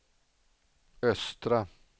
östra